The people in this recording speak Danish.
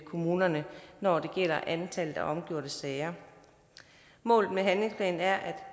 kommunerne når det gælder antallet af omgjorte sager målet med handlingsplanen er at